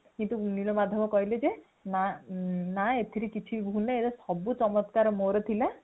କିନ୍ତୁ ନୀଳମାଧବ କହିଲେ ଯେ ନା ନା ଏଥିରେ କିଛି ଭୁଲ ନାଇଁ ଏଥିରେ ସବୁ ଚମତ୍କାର ମୋର ଥିଲା |